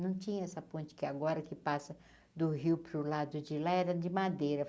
Não tinha essa ponte que agora, que passa do Rio para o lado de Lá, era de madeira.